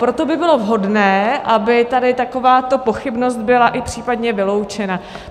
Proto by bylo vhodné, aby tady takováto pochybnost byla i případně vyloučena.